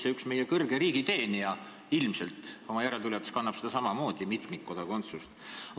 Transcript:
Ja üks meie kõrge riigiteenija oma järeltulijatega ilmselt soovib samamoodi seda mitmikkodakondsuse võimalust.